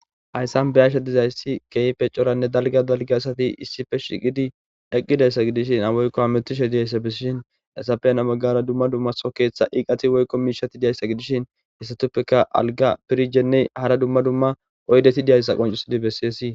Hayssan bayasha dizayssi keyfe coranne dalga dalge asati issife shiqidi eqqidayssa gidishin awaykko hametishe diyayssa bisshin esafena maggara dumma dummaso keetha iiqati wokko miishati diyayssa gidishin hissatuppeka alga pirjenne hara dumma dumma oydeti diyayssa qoncusidi bessiyesii.